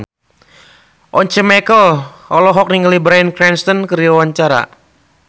Once Mekel olohok ningali Bryan Cranston keur diwawancara